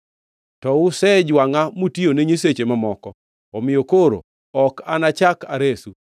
To usejwangʼa mutiyone nyiseche mamoko, omiyo koro ok anachak aresu.